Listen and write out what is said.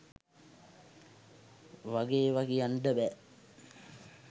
වගේ ඒව කියන්ඩ බෑ.